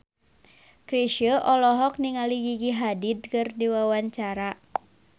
Chrisye olohok ningali Gigi Hadid keur diwawancara